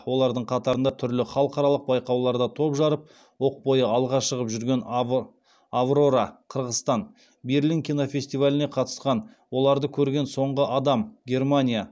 олардың қатарында түрлі халықаралық байқауларда топ жарып оқ бойы алға шығып жүрген аврора берлин кинофестиваліне қатысқан оларды көрген соңғы адам